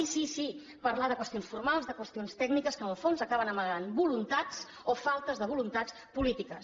sí sí parlar de qüestions formals de qüestions tècniques que en el fons acaben amagant voluntats o faltes de voluntats polítiques